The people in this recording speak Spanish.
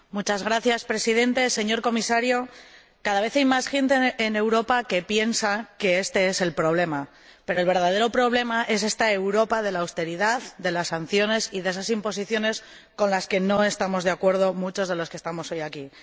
Señor Presidente, señor Comisario, cada vez hay más gente en Europa que piensa que este es el problema, pero el verdadero problema es esta Europa de la austeridad, de las sanciones y de esas imposiciones con las que no estamos de acuerdo muchos de los que estamos hoy aquí.